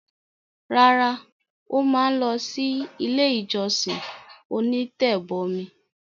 Rárá, ó ma lọ sí “ ilé-ìjọsìn onítẹ̀bọmi”.